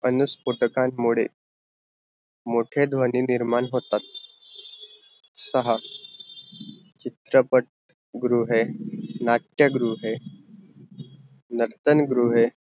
अनुस्फोटकांन मुडे मोठे ध्वनी निर्माण होतात, सहा चित्रपट गृहे, नाट्य गृह नास्तान गृहे